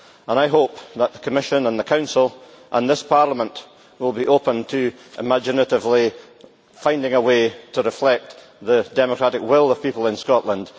I hope that the Commission and the Council, and this Parliament, will be open to imaginatively finding a way to reflect the democratic will of people in Scotland.